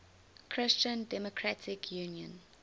christian democratic union